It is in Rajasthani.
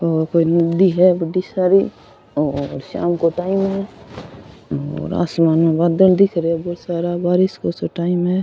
औ कोई नदी है बड़ी सारी और शाम को टाइम है और आसमान में बादल दिख रे है बोला सारा बारिश को सो टाइम है।